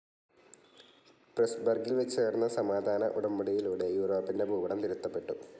പ്രെസ്‌ബർഗിൽ വെച്ചു നടന്ന സമാധാന ഉടമ്പടിയിലൂടെ യൂറോപ്പിൻ്റെ ഭൂപടം തിരുത്തപെട്ടു.